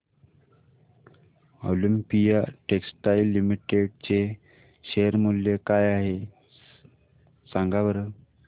Olympia textiles limited चे share मूल्य काय आहे सांगा बरं